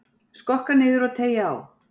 Skokka niður og teygja á.